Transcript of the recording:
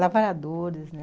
Lavradores, né?